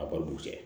A baliku cɛ